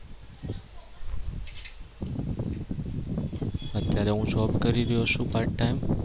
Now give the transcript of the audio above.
અત્યારે હું job કરી રહ્યો છુ part time